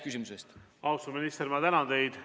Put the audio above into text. Austatud minister, ma tänan teid!